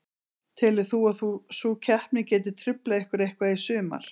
Telur þú að sú keppni geti truflað ykkur eitthvað í sumar?